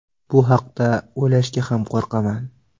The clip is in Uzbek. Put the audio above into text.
Bu haqda o‘ylashga ham qo‘rqaman.